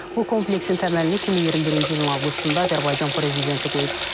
Bu kompleksin təməlini 2021-ci ilin avqustunda Azərbaycan prezidenti qoyub.